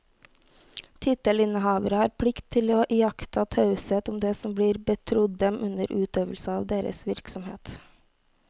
Tittelinnehavere har plikt til å iaktta taushet om det som blir betrodd dem under utøvelse av deres virksomhet.